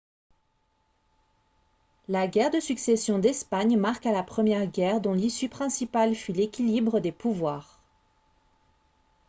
la guerre de succession d'espagne marqua la première guerre dont l'issue principale fut l'équilibre des pouvoirs